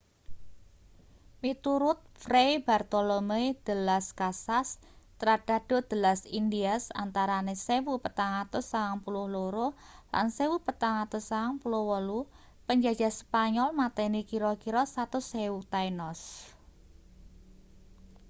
miturut fray bartolomé de las casas tratado de las indias antarane 1492 lan 1498 penjajah spanyol mateni kira-kira 100.000 taínos